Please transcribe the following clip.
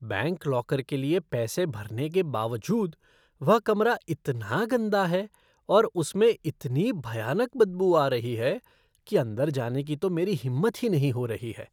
Bank locker के लिए पैसे भरने के बावजूद, वह कमरा इतना गंदा है और उसमें से इतनी भयानक बदबू आ रही है कि अंदर जाने की तो मेरी हिम्मत ही नहीं हो रही है।